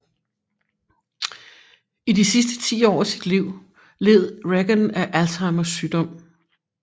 I de sidste 10 år af sit liv led Reagan af Alzheimers sygdom